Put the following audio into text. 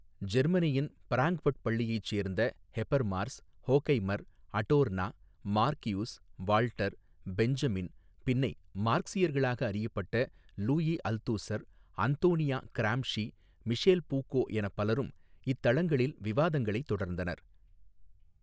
ஜெர்மனியின் பிராங்க்பட் பள்ளியைச் சேர்ந்த Habermas Horkheimer Adorno Marcuse Walter Benjamin பின்னை மார்க்ஸியர்களாக அறியப்பட்ட Louis Althusser Antonio Gramsci Michel Foucault எனப்பலரும் இத்தளங்களில் விவாதங்களை தொடர்ந்தனர்.